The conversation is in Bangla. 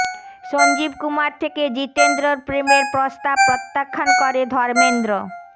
সঞ্জীব কুমার থেকে জিতেন্দ্রর প্রেমের প্রস্তাব প্রত্যাখ্যান করে ধর্মেন্দ্র